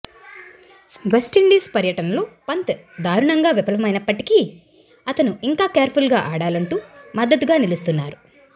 West Indies పర్యటనలో పంత్ దారుణంగా విఫలమైనప్పటికీ అతను ఇంకా కేర్ఫుల్గా ఆడాలంటూ మద్దతుగా నిలుస్తున్నారు